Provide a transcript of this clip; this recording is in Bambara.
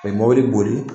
A ye mobili boli